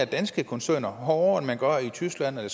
danske koncerner hårdere end man gør i tyskland eller